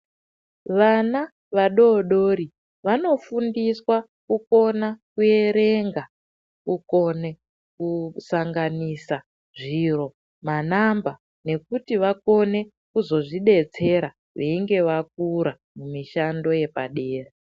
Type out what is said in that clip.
Vana vadodori vanofundiswa kukona kuerenga, kukone kusanganisa zviro manamba nekuti vakone kuzozvidetsera veinge vakura mishando yepadera.